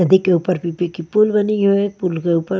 नदी के ऊपर की पुल बनी है पुल के ऊपर --